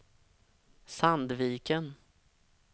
Sandviken